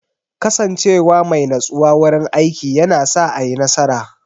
Kasance wa mai natsuwa wurin aiki yana sa a yi nasara.